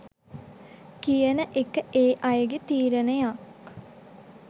කියන එක ඒ අයගේ තීරණයක්.